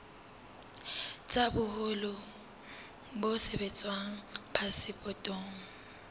tsa boholo bo sebediswang phasepotong